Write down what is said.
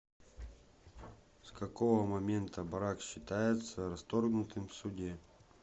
с какого момента брак считается расторгнутым в суде